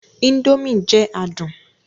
Indomie jẹ adun